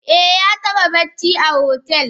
Eh yataba bacci a hotel.